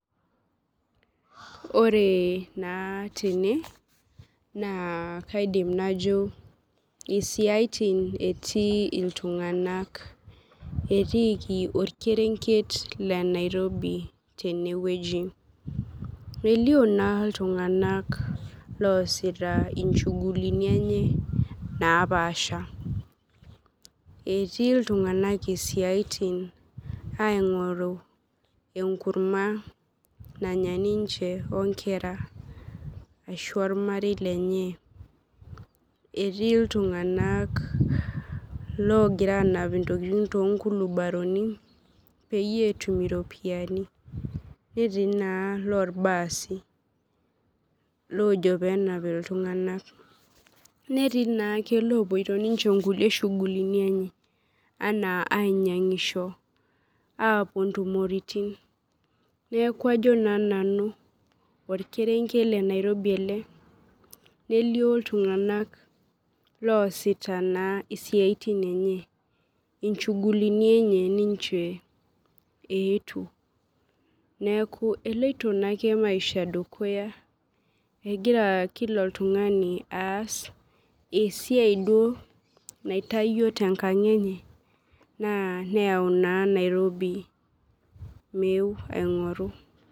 Ore na tene na kaidim najo isiatin etii ltunganak etiiki orkerenket le nairobi enewueji, elio na ltunganak epoito nchugulini enye napaasha etii ltunganak siatin ingoru enkurma nanya ninche onkera ashu ormarei lenye etii ltunganak logir anap ntokitin tonkulibaroni peyie etum iropiyiani netii na lorbaasi lojo penap ltunganak netii na rkulie opoito nchugulini enye anaa ainyangisho apuo ntumoritin neaku ajo na nanu orkerenket le nairobi ele nelio ltunganak loasita siaitin enye, nchugulini enye ninche eetuo neaku eloito maisha dukuya egira kila oltungani aas esiaia duo naitawuo tenkang enye neyau Nairobi meeu aingoru.